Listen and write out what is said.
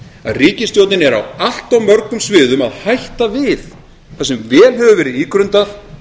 að ríkisstjórnin er á allt of mörgum sviðum að hætta við það sem vel hefur verið ígrundað